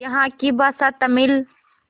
यहाँ की भाषा तमिल